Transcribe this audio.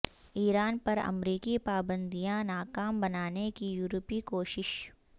ایران پر امریکی پابندیاں ناکام بنانے کی یورپی کوشش